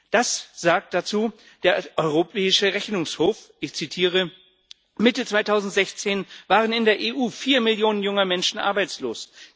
Das sagt der Europäische Rechnungshof dazu, ich zitiere Mitte 2016 waren in der EU vier Millionen junger Menschen arbeitslos.